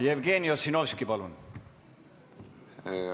Jevgeni Ossinovski, palun!